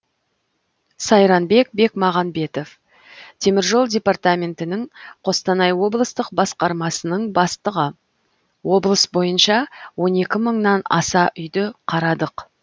сайранбек бекмағанбетов темір жол департаментінің қостанай облыстық басқармасының бастығы облыс бойынша он екі мыңнан аса үйді қарадық